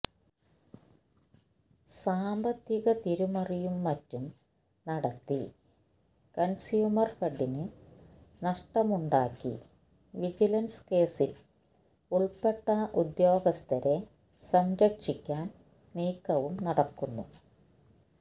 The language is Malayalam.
സാമ്പത്തിക തിരിമറിയും മറ്റും നടത്തി കണ്സ്യൂമര്ഫെഡിന് നഷ്ടമുണ്ടാക്കി വിജിലന്സ് കേസില് ഉള്പ്പെട്ട ഉദ്യോഗസ്ഥരെ സംരക്ഷിക്കാന് നീക്കവും നടക്കുന്നു